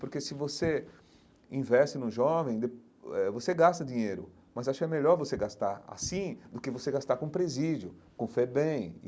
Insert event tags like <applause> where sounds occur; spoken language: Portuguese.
Porque se você investe num jovem, <unintelligible> eh você gasta dinheiro, mas acho melhor você gastar assim do que você gastar com presídio, com FEBEM.